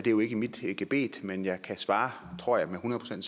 jo ikke mit gebet men jeg kan svare tror jeg med hundrede